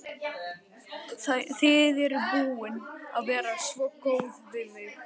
Þið eruð búin að vera svo góð við mig.